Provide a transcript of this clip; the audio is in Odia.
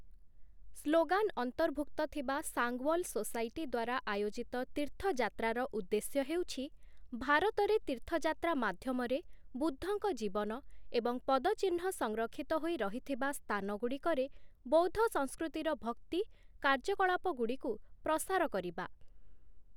ସ୍ଲୋଗାନ ଅନ୍ତର୍ଭୁକ୍ତ ଥିବା ସାଙ୍ଗୱଲ ସୋସାଇଟି ଦ୍ୱାରା ଆୟୋଜିତ ତୀର୍ଥଯାତ୍ରାର ଉଦ୍ଦେଶ୍ୟ ହେଉଛି, ଭାରତରେ ତୀର୍ଥଯାତ୍ରା ମାଧ୍ୟମରେ ବୁଦ୍ଧଙ୍କ ଜୀବନ ଏବଂ ପଦଚିହ୍ନ ସଂରକ୍ଷିତ ହୋଇ ରହିଥିବା ସ୍ଥାନଗୁଡ଼ିକରେ ବୌଦ୍ଧ ସଂସ୍କୃତିର ଭକ୍ତି କାର୍ଯ୍ୟକଳାପଗୁଡ଼ିକୁ ପ୍ରସାର କରିବା ।